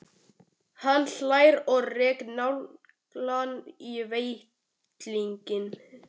Hann hlær og rekur naglann í ventilinn.